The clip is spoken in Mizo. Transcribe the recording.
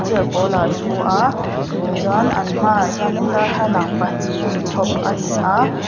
chair pawlah a thu a chuan an hmaah hianin darhalang pahnih chhawp a ni a.